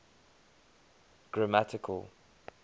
grammatical